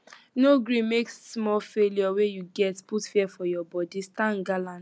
no gree make small failure wey you get put fear for your body stand gallant